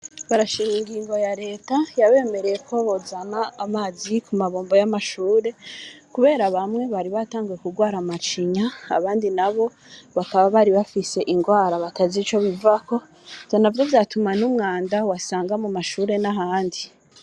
Barashima ingingo ya leta, yabemereye ko bozana amazi ku mabombo y'amashure, kubera bamwe bari batanguye kurwara amacinya, abandi nabo bakaba bari bafise ingwara batazi ico bivako, ivyo navyo vyatumwa n'umwanda wasanga mu mashure, n'ahandi.